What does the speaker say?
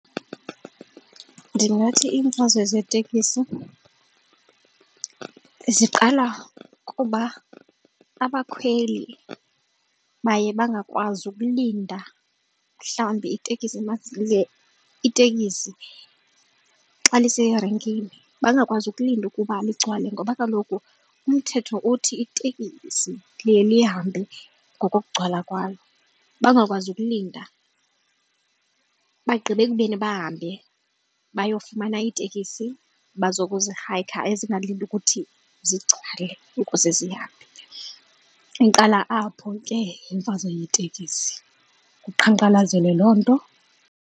Ndingathi iimfazwe zeetekisi ziqala kuba abakhweli baye bangakwazi ukulinda mhlawumbi itekisi itekisi xa liserenkini, bangakwazi ukulinda ukuba ligcwele ngoba kaloku umthetho uthi itekisi liye lihambe ngokugcwala kwalo bangakwazi ukulinda. Bagqibe ekubeni bahambe bayofumana iitekisi abazokuzihayikha ezingalindi ukuthi zigcwale ukuze zihambe. Iqala apho ke imfazwe yeetekisi kuqhankqalazelwe loo nto.